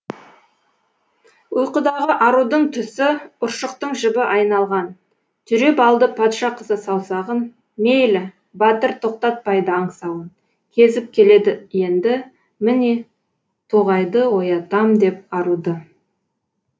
ұйқыдағы арудың түсіұршықтың жібі айналған түйреп алды патшы қызы саусағын мейлі батыр тоқтатпайды аңсауын кезіп келед енді міне тоғайдыоятам деп аруды